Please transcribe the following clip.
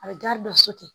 A bɛ gari don so ten